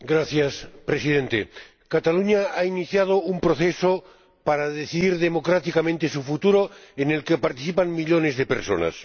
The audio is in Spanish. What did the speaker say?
Señor Presidente, Cataluña ha iniciado un proceso para decidir democráticamente su futuro, en el que participan millones de personas.